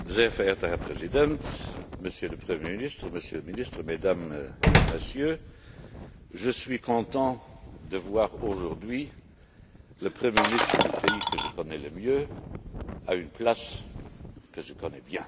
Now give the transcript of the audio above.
Monsieur le Président, Monsieur le Premier ministre, Monsieur le Ministre, Mesdames et Messieurs, je suis content de voir aujourd'hui le premier ministre du pays que je connais le mieux à une place que je connais bien.